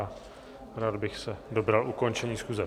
A rád bych se dobral ukončení schůze.